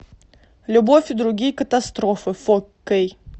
любовь и другие катастрофы фо кей